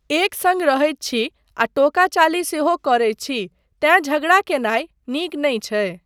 एक सङ्ग रहैत छी आ टोकाचाली सेहो करैत छी तेँ झगड़ा कयनाय नीक नहि छै।